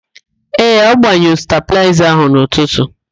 Ee, ọ gbanyụrụ stabịlaịza ahụ n'ụtụtu.